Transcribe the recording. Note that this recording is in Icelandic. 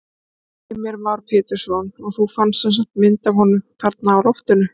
Heimir Már Pétursson: Og þú fannst semsagt mynd af honum þarna á loftinu?